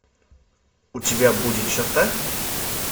у тебя будет черта